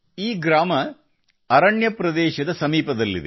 ಈ ಗ್ರಾಮವು ಅರಣ್ಯ ಪ್ರದೇಶಕ್ಕೆ ಸಮೀಪದಲ್ಲಿದೆ